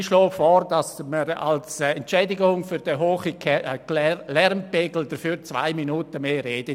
Ich schlage vor, dass Sie mir als Entschädigung für den hohen Lärmpegel eine zusätzliche Redezeit von 2 Minuten geben.